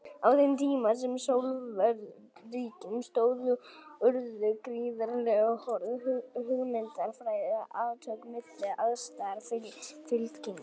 Á þeim tíma sem Sovétríkin stóðu urðu gríðarlega hörð hugmyndafræðileg átök milli andstæðra fylkinga.